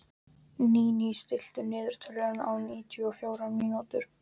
Níní, stilltu niðurteljara á níutíu og fjórar mínútur.